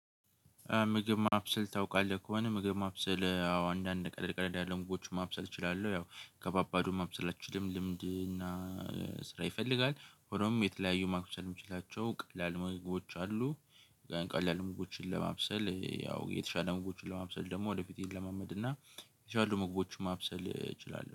ምግብ ማብሰል ታውቃለህ? ከሆነ ምግብ ማብሰል አዎ አንዳንድ ቀለል ቀለል ያሉ ምግቦችን ማብሰል እችላለሁ ያው ከባባዱ ማብሰል አልችልም። ልምድ እና ስራ ይፈልጋል ሆኖም የተለያዩ ማብሰል የምችላቸው ቀላል መግባባቶች አሉ። ቀላል ምግቦችን ለማብሰል ያው የተሻለ ምግቦችን ለማብሰል ደግሞ ወደ ፌቴ እለማመድ እና የቻሉ ምግቦችን ማብሰል እችላለሁ